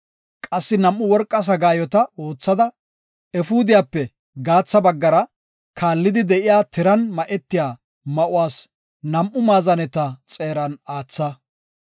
Qassi nam7u worqa sagaayota oothada, efuudiyape gatha baggara kaallidi de7iya tiran ma7etiya ma7uwas nam7u maazaneta xeeran aatha.